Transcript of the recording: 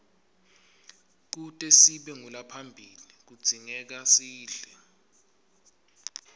kute sibe ngulabaphilile kudzingekasidle